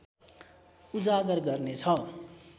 उजागर गर्नेछ